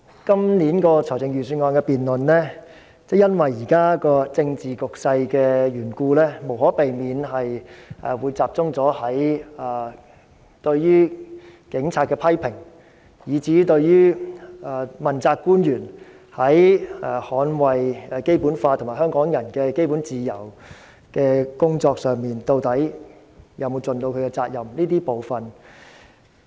今年的財政預算案辯論，因為現時的政治局勢的緣故，無可避免會集中討論對於警察的批評，以至問責官員在捍衞《基本法》和香港人基本自由的工作上有否盡責任。